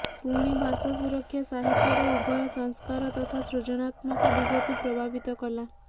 ପୁଣି ଭାଷା ସୁରକ୍ଷା ସାହିତ୍ୟର ଉଭୟ ସଂସ୍କାର ତଥା ସୃଜନାତ୍ମକ ଦିଗକୁ ପ୍ରଭାବିତ କଲା